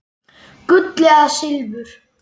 Gull eða silfur?